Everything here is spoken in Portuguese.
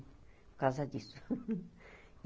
Por causa disso.